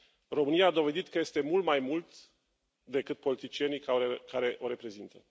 România a dovedit că este mult mai mult decât politicienii care o reprezintă.